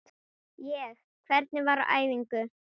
Ég: Hvernig var á æfingu?